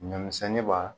Ɲɔ misɛnni b'a